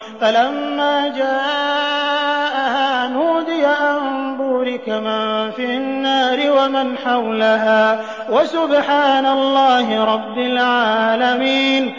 فَلَمَّا جَاءَهَا نُودِيَ أَن بُورِكَ مَن فِي النَّارِ وَمَنْ حَوْلَهَا وَسُبْحَانَ اللَّهِ رَبِّ الْعَالَمِينَ